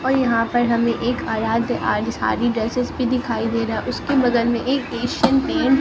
और यहां पर हमें एक सारी ड्रेसस भी दिखाई दे रहा उसके बगल में एक पेशेंट ने--